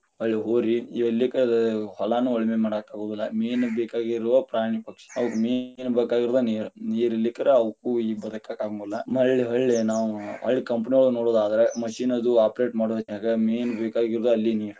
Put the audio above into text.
ಹೊಳ್ಳಿ ಹೋರಿ ಇವ ಇರಲಿಕ್ಕರ ಹೊಲಾನೂ ಉಳಿಮೆ ಮಾಡಾಕ ಆಗುದಿಲ್ಲ, main ಬೇಕಾಗಿರೋವಾ ಪ್ರಾಣಿ ಪಕ್ಷಿ, ಅವಕ್ಕ main ಬೇಕಾಗಿರೋದ ನೀರ, ಇರಲಿಕ್ಕರ ಅವ್ಕು ಬದಕಾಕ ಆಗುದಿಲ್ಲಾ, ಹೊಳ್ಳಿ ನಾವು ಹೊಳ್ಳಿ company ಒಳಗ ನೋಡುದಾದ್ರ machine ಅದು operate ಮಾಡು ಹೊತ್ತನಾಗ main ಬೇಕಾಗಿರೋದ ಅಲ್ಲಿ ನೀರ.